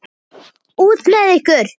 Út með ykkur!